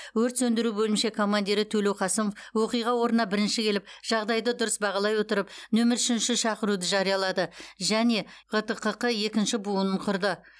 өрт сөндіру бөлімше командирі төлеуқасымов оқиға орнына бірінші келіп жағдайды дұрыс бағалай отырып нөмір үшінші шақыруды жариялады және гтққ екінші буынын құрды